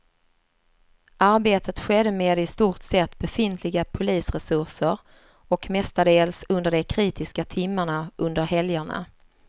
Arbetet skedde med i stort sett befintliga polisresurser och mestadels under de kritiska timmarna under helgerna.